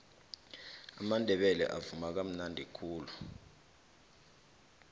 amandebele avuma kamnadi khulu